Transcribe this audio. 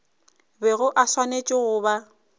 bego e swanetše go ba